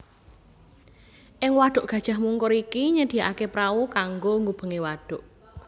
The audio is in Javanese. Ing wadhuk Gajah Mungkur iki nyediakaké prau kanggo ngubengi wadhuk